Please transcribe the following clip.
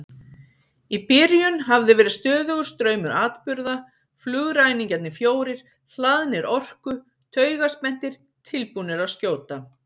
Í byrjun hafði verið stöðugur straumur atburða, flugræningjarnir fjórir hlaðnir orku, taugaspenntir, tilbúnir að skjóta.